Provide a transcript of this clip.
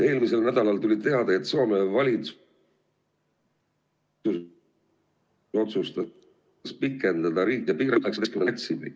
Eelmisel nädalal tuli teade, et Soome valitsus otsustas pikendada ...